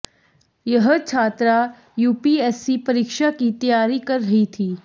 यह छात्रा यूपीएससी परीक्षा की तैयारी कर रही थी